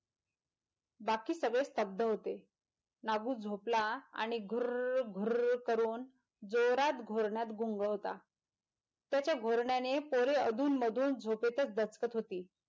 बाकी सगळे स्तब्ध होते नागू झोपला आणि घुर्र्र्र घुंर्र्र्र करून जोरात घुरण्यात गुंग होता त्याच्या घोरण्याने पोर अधून मधून झोपेतच दचकत होती.